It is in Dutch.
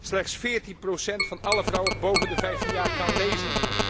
Slechts 14 procent van alle vrouwen boven de 15 jaar kan lezen.